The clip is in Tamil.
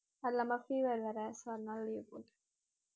அது இல்லாம fever வேற so அதனால leave போட்டேன்